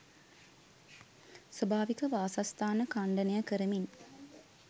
ස්වාභාවික වාසස්ථාන ඛණ්ඩනය කරමින්